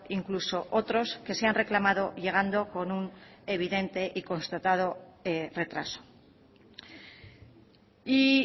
incluso otros que se han reclamado llegando con un evidente y constatado retraso y